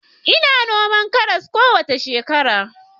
Ina noman karas kowace shekara